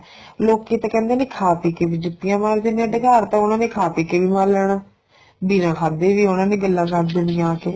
ਲੋਕੀ ਤਾਂ ਕਹਿੰਦੇ ਨੇ ਖਾ ਪੀ ਕੇ ਵੀ ਜੁਤੀਆਂ ਮਾਰਦੇ ਨੇ ਡਕਾਰ ਤਾਂ ਉਹਨਾ ਨੇ ਖਾ ਪੀ ਕੇ ਵੀ ਮਰ ਲੈਣਾ ਬਿੰਨਾ ਖਾਧੇ ਵੀ ਉਹਨਾ ਨੇ ਗੱਲਾਂ ਦਸ ਦੇਣੀਆਂ ਆ ਕੇ